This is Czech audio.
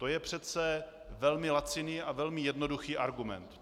To je přece velmi laciný a velmi jednoduchý argument.